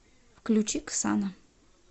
включи ксана